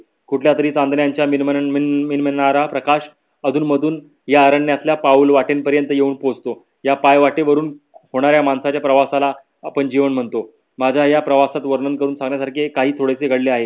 कुठल्या तरी चांदण्यांचा मिळणारा प्रकाश अधून मधून या अरण्यातील पाऊल वाटेत येऊन पोहोचतो. पायवतेवरून होणाऱ्या माणसाच्या प्रवासाला आपण जीवन म्हणतो. माझ्या या प्रवासात वर्णन करून सांगण्यासारखे काही थोडेसे घडले आहे.